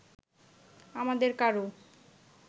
আমাদের কারো